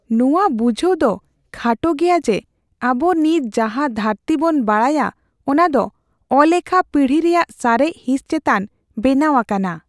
ᱱᱚᱶᱟ ᱵᱩᱡᱷᱟᱹᱣ ᱫᱚ ᱠᱷᱟᱴᱚ ᱜᱮᱭᱟ ᱡᱮ ᱟᱵᱚ ᱱᱤᱛ ᱡᱟᱦᱟ ᱫᱷᱟᱹᱨᱛᱤ ᱵᱚᱱ ᱵᱟᱰᱟᱭᱟ ᱚᱱᱟ ᱫᱚ ᱟᱞᱮᱠᱷᱟ ᱯᱤᱲᱦᱤ ᱨᱮᱭᱟᱜ ᱥᱟᱨᱮᱡ ᱦᱤᱸᱥ ᱪᱮᱛᱟᱱ ᱵᱮᱱᱟᱣ ᱟᱠᱟᱱᱟ ᱾